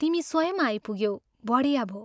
तिमी स्वयं आइपुग्यौ बढिया भो।